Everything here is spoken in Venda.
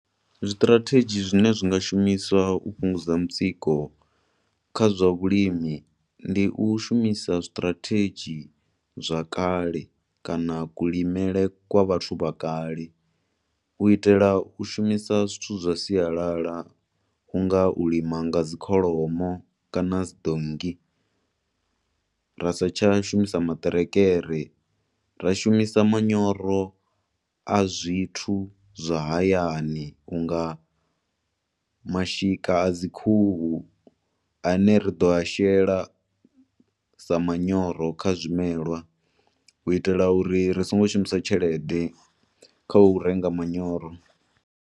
Zwiṱirathedzhi zwine zwi nga shumiswa u fhungudza mutsiko kha zwa vhulimi ndi u shumisa strategy zwa kale kana kulimele kwa vhathu vha kale. U itela u shumisa zwithu zwa sialala, u nga u lima nga dzikholomo kana dzi donngi, ra sa tsha shumisa maṱerekere, ra shumisa manyoro a zwithu zwa hayani unga mashika a dzikhuhu ane ri ḓo a shela sa manyoro kha zwimelwa, u itela uri ri songo shumisa tshelede kha u renga manyoro.